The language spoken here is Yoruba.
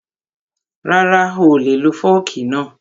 Rara, oolè lo fọ́ọ̀kì náà